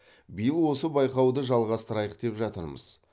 биыл осы байқауды жалғастырайық деп жатырмыз